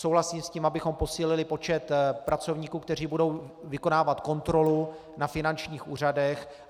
Souhlasím s tím, abychom posílili počet pracovníků, kteří budou vykonávat kontrolu na finančních úřadech.